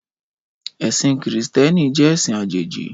Ẹ̀sìn Krìstẹ́nì jẹ́ ẹ̀sìn àjèjì.